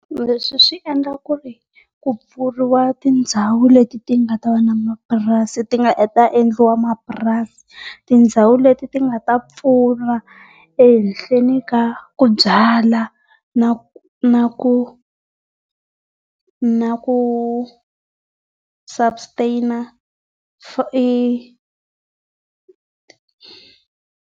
Leswi swi endla ku ri ku pfuriwa tindhawu leti ti nga ti nga ta endliwa mapurasi. Tindhawu leti ti nga ta pfuna ehenhleni ka ku byala na na ku na ku substain .